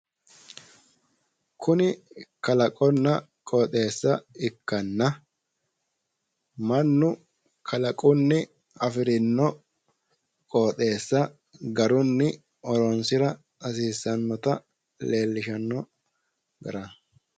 Kuni kalaqonna qooxeessa ikkanna, mannu kalaqunni afirino qooxeessa garunni horonsira hasiissannota leellishanno garaati.